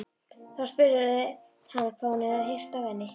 Þá spurði hann hvað hún hefði heyrt af henni.